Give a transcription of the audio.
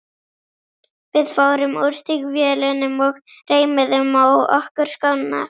Við fórum úr stígvélunum og reimuðum á okkur skóna.